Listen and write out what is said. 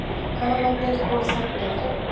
Hanarnir voru þagnaðir.